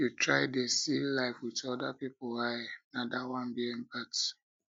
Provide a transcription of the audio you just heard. make you try dey see life wit other pipu eye na dat one be empathy